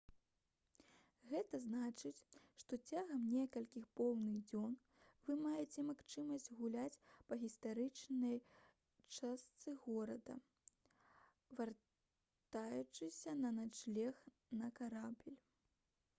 гэта значыць што цягам некалькіх поўных дзён вы маеце магчымасць гуляць па гістарычнай частцы горада вяртаючыся на начлег на карабель